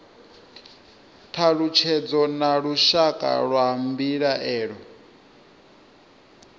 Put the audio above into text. thalutshedzo na lushaka lwa mbilaelo